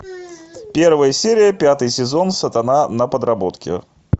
первая серия пятый сезон сатана на подработке